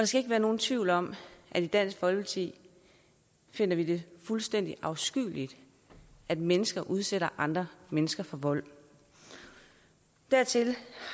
skal ikke være nogen tvivl om at i dansk folkeparti finder vi det fuldstændig afskyeligt at mennesker udsætter andre mennesker for vold dertil